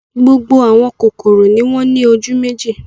Gbogbo àwọn kòkòrò ni wọ́n ní ojú méjì.